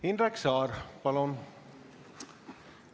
Indrek Saar, palun!